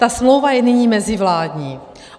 Ta smlouva je nyní mezivládní.